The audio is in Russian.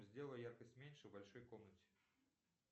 сделай яркость меньше в большой комнате